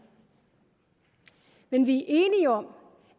men vi